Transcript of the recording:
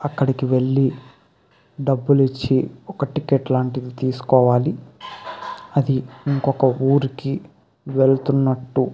అక్కడికి వెళ్ళి డబ్బులిచ్చి ఒక టికెట్ లాంటిది తీసుకోవాలి అది ఇంకొక ఊరికి వెళ్తున్నట్టు.